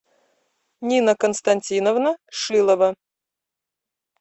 нина константиновна шилова